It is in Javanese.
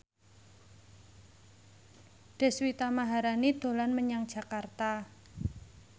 Deswita Maharani dolan menyang Jakarta